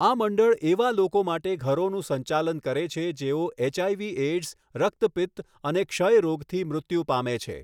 આ મંડળ એવા લોકો માટે ઘરોનું સંચાલન કરે છે જેઓ એચઆઇવી એઇડ્સ, રક્તપિત્ત અને ક્ષય રોગથી મૃત્યુ પામે છે.